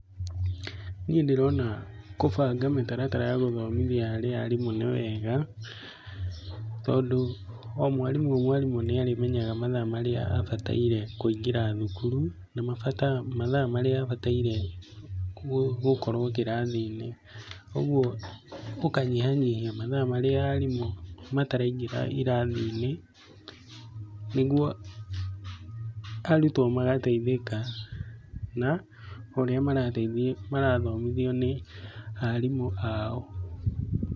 Niĩ ndĩrona kũbanga mĩtaratara harĩ arimũ nĩ wega tondũ, o mwarimũ o mwarimũ nĩarĩmenyaga mathaa marĩa abataire kũingĩra thukuru, na mathaa marĩa abataire gũkorwo kĩrathiinĩ. Ũguo gũkanyihanyihia mathaa marĩa arimũ mataraingĩra irathinĩ nĩguo arutwo magateithĩka na ũrĩa marathomithio nĩ arimũ ao.